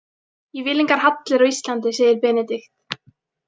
Ég vil engar hallir á Íslandi, segir Benedikt.